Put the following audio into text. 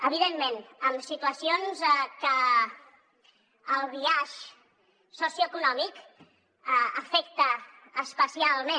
evidentment amb situacions que el biaix socioeconòmic afecta especialment